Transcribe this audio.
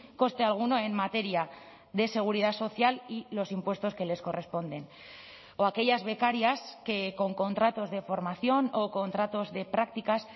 coste alguno en materia de seguridad social y los impuestos que les corresponden o aquellas becarias que con contratos de formación o contratos de prácticas